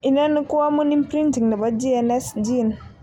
Inoni ko amun imprinting nepo GNAS gene.